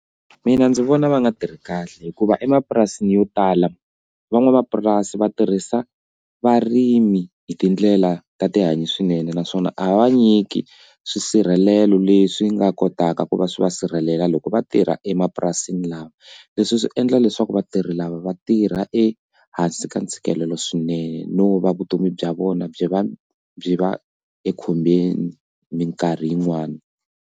Mina ndzi vona va nga tirhi kahle hikuva emapurasini yo tala van'wamapurasi va tirhisa varimi hi tindlela ta tihanyi swinene naswona a va nyiki swisirhelelo leswi nga kotaka ku va swi va va sirhelela loko va tirha emapurasini lama leswi swi endla leswaku vatirhi lava va tirha ehansi ka ntshikelelo swinene no va vutomi bya vona byi va byi va ekhombyeni minkarhi yin'wani.